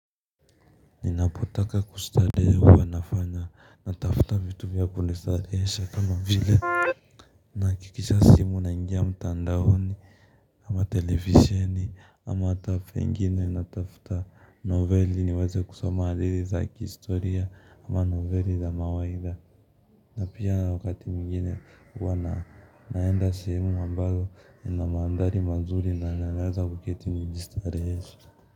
Ninapotaka kustarehe huwa nafanya, natafuta vitu vya kujistarehesha kama vile naakisha simu naingia mtandaoni ama televisheni ama ata saa ingine natafuta noveli niweze kusoma hadithi za kihistoria ama noveli za mawaidha na pia wakati mwingine huwa naenda sehemu ambayo ina mandhari mazuri na naweza kuketi kujistarehesha.